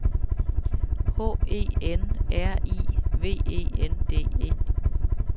H E N R I V E N D E